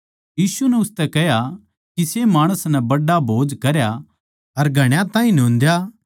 यीशु नै उसतै कह्या किसे माणस नै बड्ड़ा भोज करया अर घणा ताहीं न्योंदा